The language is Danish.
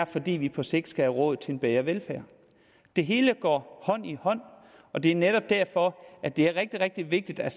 fordi vi på sigt skal have råd til en bedre velfærd det hele går hånd i hånd og det er netop derfor at det er rigtig rigtig vigtigt at